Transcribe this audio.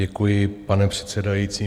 Děkuji, pane předsedající.